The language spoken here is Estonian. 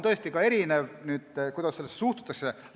See, kuidas sellesse suhtutakse, on erinev.